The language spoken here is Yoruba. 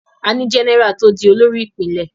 A ní Jẹ́nẹ́rà tó di olórí Ìpínlẹ̀